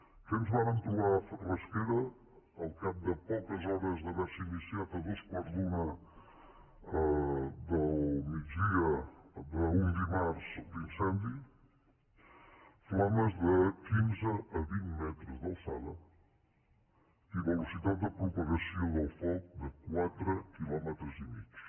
què ens vàrem trobar a rasquera al cap de poques hores d’haver se iniciat a dos quarts d’una del migdia d’un dimarts l’incendi flames de quinze a vint metres d’alçada i velocitat de propagació del foc de quatre quilòmetres i mig